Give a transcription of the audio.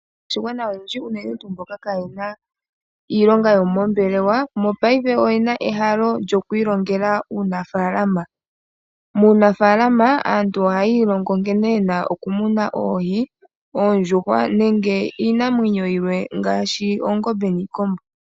Aakwashigwana olundji unene tuu mboka kayena iilonga yomoombelewa mopayife oyena ehalo lyoku ilongela uunafalama, muunafalama aantu ohayi ilongo nkene yena oku muna oohi, oondjuhwa nenge iinamwenyo yimwe ngaashi oongombe niikombo.